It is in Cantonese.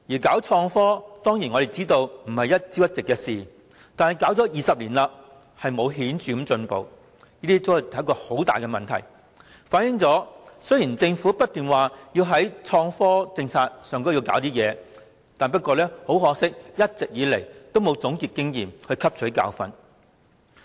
我們當然明白搞創科並非一朝一夕的事，但搞了20年都沒有顯著進步，這便是很大問題，反映政府雖然不斷推出創科政策，但一直以來都沒有總結經驗，汲取教訓。